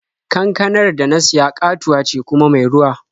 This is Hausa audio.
Kankanar da na siya ƙatuwa ce kuma mai ruwa.